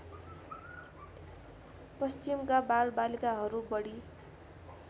पश्चिमका बालबालिकाहरू बढी